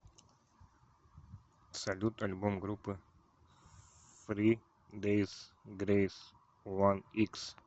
салют альбом группы фри дейс грейс уан икс